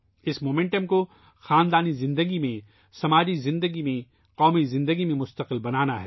اس رفتار کو خاندانی زندگی میں ، سماجی زندگی میں ، قومی زندگی میں مستقل بنانا ہے